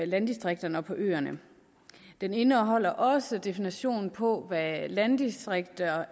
landdistrikterne og på øerne den indeholder også definitionen på hvad landdistrikter